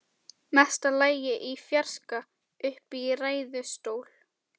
Mesta lagi í fjarska uppi í ræðustól.